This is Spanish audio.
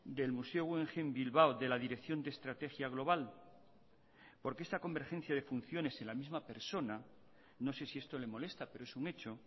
del museo guggenheim bilbao de la dirección de estrategia global porque esta convergencia de funciones en la misma persona no sé si esto le molesta pero es un hecho